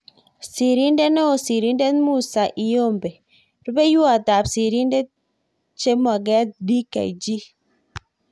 Sirindet neoo-Sirindet Musa Iyombe-Rupeiywot ap Sirindet chemoget-Dkg